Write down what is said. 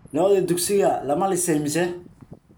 Lo'dii dugsiga lama lisay mise